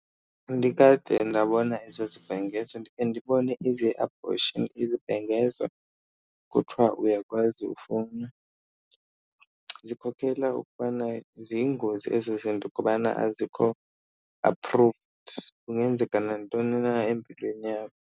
Andikade ndabona eso sibhengezo, ndikhe ndibone eze-abortion izibhengezo kuthiwa uyakwazi ufowuna. Zikhokela ukubana ziyingozi ezo zinto kubana azikho approved, kungenzeka nantoni na empilweni yakho.